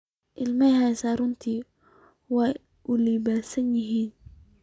Ilmahaasi runtii waa u labbisan yahay